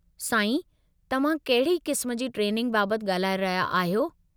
साईं, तव्हां कहिड़ी क़िस्म जी ट्रेनिंग बाबति ॻाल्हाए रहिया आहियो?